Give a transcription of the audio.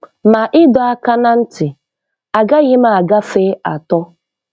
Ma ịdọ aka ná ntị, agaghim agafe atọ."